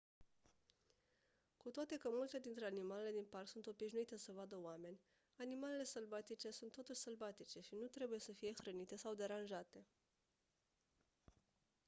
cu toate că multe dintre animalele din parc sunt obișnuite să vadă oameni animalele sălbatice sunt totuși sălbatice și nu trebuie să fie hrănite sau deranjate